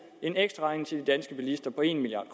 en ekstraregning til de danske bilister på en milliard